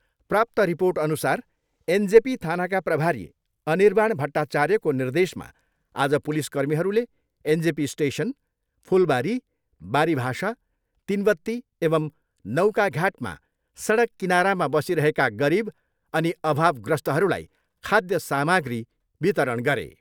प्राप्त रिर्पोटअनुसार एनजेपी थानाका प्रभारी अनिर्वाण भट्टाचार्यको निर्देशमा आज पुलिसकर्मीहरूले एनजेपी स्टेसन, फुलबारी, बारीभाषा, तिनवत्ती एवम् नौकाघाटमा सडक किनारामा बसिरहेका गरिब अनि अभावग्रस्तहरूलाई खाध्य सामाग्री वितरण गरे।